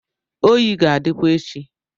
oyi ga-adịkwa echi